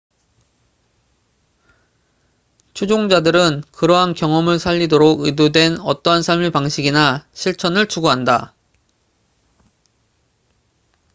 추종자들은 그러한 경험을 살리도록 의도된 어떠한 삶의 방식이나 실천을 추구한다